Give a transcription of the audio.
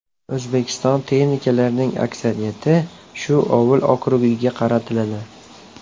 O‘zbekiston texnikalarining aksariyati shu ovul okrugiga tarqatiladi.